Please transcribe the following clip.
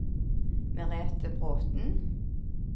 Merethe Bråthen